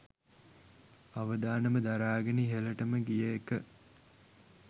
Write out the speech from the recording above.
අවදානම දරාගෙන ඉහළටම ගිය එක